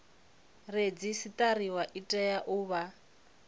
redzisiṱariwa i tea u vha